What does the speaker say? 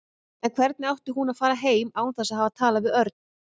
En hvernig átti hún að fara heim án þess að hafa talað við Örn?